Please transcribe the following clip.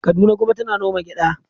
Kaduna kuma tana noma gyada.